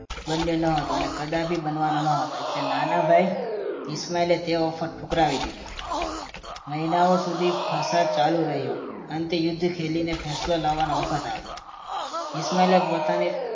બન્યો નહોતો અને કદાપી બનવાનો ન હતો એટલે નાના ભાઈ ઈશમાલ એ ઓફર ઠુકરાવી દીધી મહિનાઓ સુધી ફસાદ ચાલુ રહી હતો અંતે યુદ્ધ ખેલીને ફેસલો લાવવાનો વખત આવ્યો ઈશમાલ પોતાની